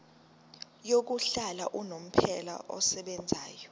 yokuhlala unomphela esebenzayo